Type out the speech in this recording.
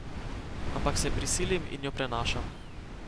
Ampak se prisilim in jo prenašam.